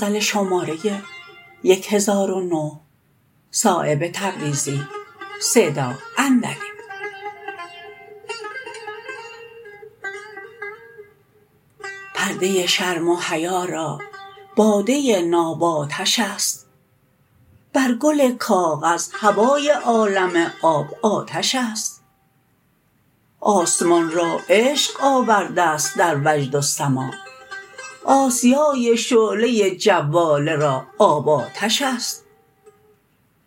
پرده شرم و حیا را باده ناب آتش است بر گل کاغذ هوای عالم آب آتش است آسمان را عشق آورده است در وجد و سماع آسیای شعله جواله را آب آتش است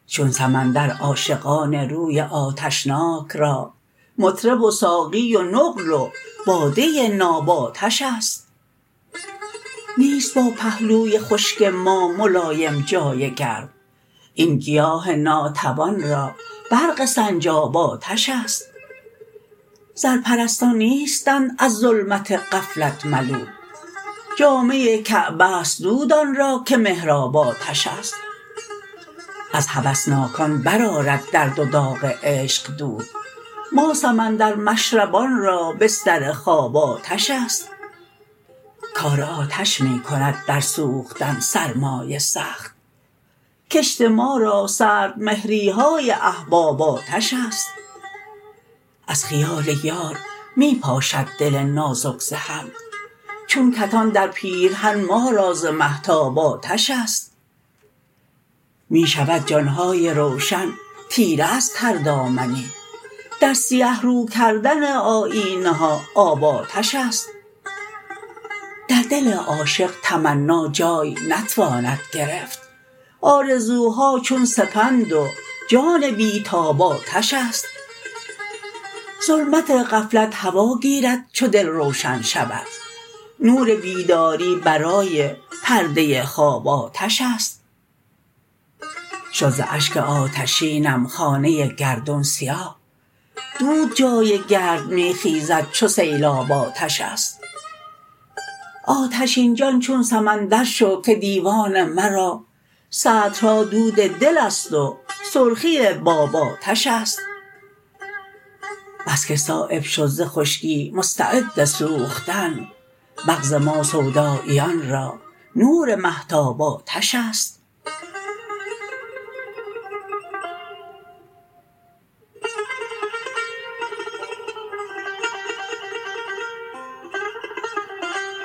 چون سمندر عاشقان روی آتشناک را مطرب و ساقی و نقل و باده ناب آتش است نیست با پهلوی خشک ما ملایم جای گرم این گیاه ناتوان را برق سنجاب آتش است زرپرستان نیستند از ظلمت غفلت ملول جامه کعبه است دود آن را که محراب آتش است از هوسناکان برآرد درد و داغ عشق دود ما سمندر مشربان را بستر خواب آتش است کار آتش می کند در سوختن سرمای سخت کشت ما را سردمهری های احباب آتش است از خیال یار می پاشد دل نازک ز هم چون کتان در پیرهن ما را ز مهتاب آتش است می شود جان های روشن تیره از تر دامنی در سیه رو کردن آیینه ها آب آتش است در دل عاشق تمنا جای نتواند گرفت آرزوها چون سپند و جان بی تاب آتش است ظلمت غفلت هوا گیرد چو دل روشن شود نور بیداری برای پرده خواب آتش است شد ز اشک آتشینم خانه گردون سیاه دود جای گرد می خیزد چو سیلاب آتش است آتشین جان چون سمندر شو که دیوان مرا سطرها دود دل است و سرخی باب آتش است بس که صایب شد ز خشکی مستعد سوختن مغز ما سوداییان را نور مهتاب آتش است